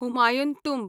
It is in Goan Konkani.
हुमायून टुंब